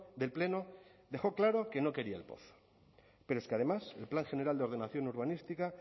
del pleno dejó claro que no quería el pozo pero es que además el plan general de ordenación urbanística